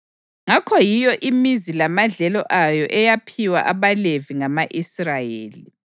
Ngakho yiyo imizi lamadlelo ayo eyaphiwa abaLevi ngama-Israyeli.